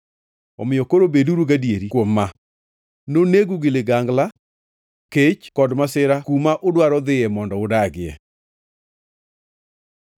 Omiyo koro, beduru gadieri kuom ma: Nonegu gi ligangla, kech kod masira kuma udwaro dhiye mondo udagie.”